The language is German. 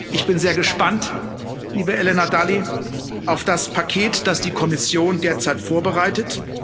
Ich bin sehr gespannt, liebe Helena Dalli, auf das Paket, das die Kommission derzeit vorbereitet.